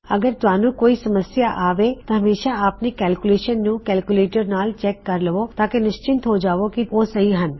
ਅਗਰ ਤੁਸੀਂ ਕਿਸੀ ਸਮੱਸਿਆ ਦਾ ਸਾਮਨਾ ਕਰਦੇ ਹੋਂ ਤਾਂ ਹਮੇਸ਼ਾ ਆਪਣੀ ਕੈਲਕੁਲੇਇਸ਼ਨ ਨੂੰ ਕੈਲਕੁਲੇਟਰ ਨਾਲ ਚੈੱਕ ਕਰ ਲਵੋ ਤਾਂਕੀ ਨਿਸ਼ਚਿਤ ਹੋ ਜਾਵੇ ਕੀ ਉਹ ਸਹੀ ਹਨ